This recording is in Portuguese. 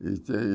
E tem